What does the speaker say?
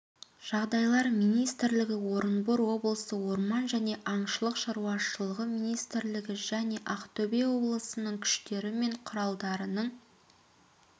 жағдайлар министрлігі орынбор облысы орман және аңшылық шаруашылығы министрлігі және ақтөбе облысының күштері мен құралдарының